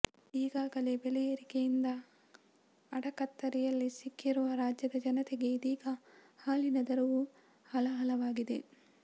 ಈಗಾಗಲೇ ಬೆಲೆಯೇರಿಕೆಯಿಂದ ಅಡಕತ್ತರಿಯಲ್ಲಿ ಸಿಕ್ಕಿರುವ ರಾಜ್ಯದ ಜನತೆಗೆ ಇದೀಗ ಹಾಲಿನ ದರವೂ ಹಾಲಾಹಲವಾಗಿದೆ